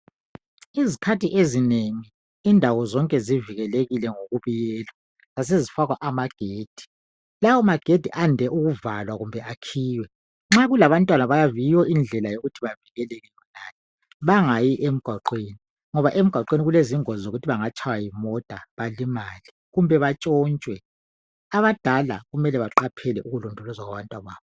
Izikhathi ezinengi indawo zonke zivikelekile ngokubiyelwa zasezifakwa amagedi .Lawo magedi ayande ukuvalwa kumbe akhiywe .Nxa kulabantwana yiyo indlela yokuthi bavikeleke ngayo bangayi emgwaqweni .Ngoba emgwaqweni kulezingozi zokuthi bangatshaywa yimota balimale kumbe batshontshwe .Abadala kumele baqaphele ukulondolozwa kwabantwababo .